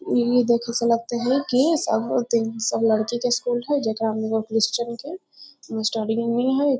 इ देखे से लगते है की सब दिन सब लड़की के स्कूल हेय जकड़ा मे सब क्रिश्चियन के मस्टरनी हेय